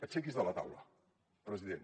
aixequi’s de la taula president